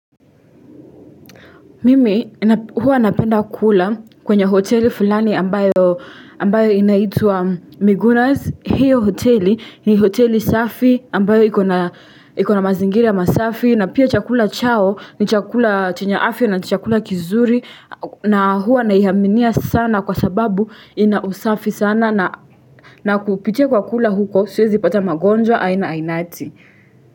Mimi huwa napenda kula kwenye hoteli fulani ambayo inaitua migunas hiyo hoteli ni hoteli safi ambayo ikona mazingiri ya masafi na pia chakula chao ni chakula chenya afya na ni chakula kizuri na huwa naiaminia sana kwa sababu ina usafi sana na kupitia kwa kula huko siwezi ipata magonjwa aina ainati.